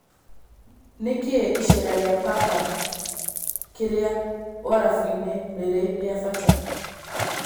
Ni kĩ icera ria Papa kĩrĩa Uarafu-ini rĩrĩ rĩa fata?